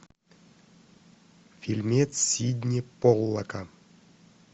фильмец сидни поллака